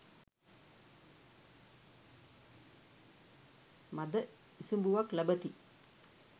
මද ඉසිඹුවක් ලබති.